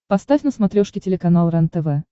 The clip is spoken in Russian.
поставь на смотрешке телеканал рентв